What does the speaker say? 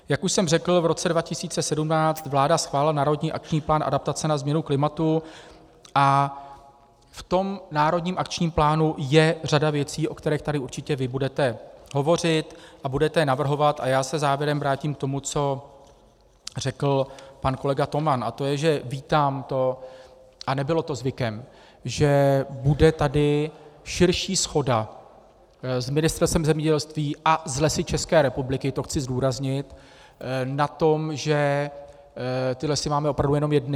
Jak už jsem řekl, v roce 2017 vládla schválila národní akční plán adaptace na změnu klimatu a v tom národním akčním plánu je řada věcí, o kterých tady určitě vy budete hovořit a budete je navrhovat, a já se závěrem vrátím k tomu, co řekl pan kolega Toman, a to je, že vítám to, a nebylo to zvykem, že bude tady širší shoda s Ministerstvem zemědělství a s Lesy České republiky, to chci zdůraznit, na tom, že ty lesy máme opravdu jenom jedny.